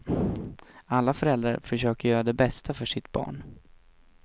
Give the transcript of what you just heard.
Alla föräldrar försöker göra det bästa för sitt barn.